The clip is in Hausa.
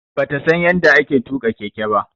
Bata San yadda ake tuka Keke ba.